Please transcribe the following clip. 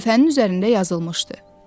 Lövhənin üzərində yazılmışdı: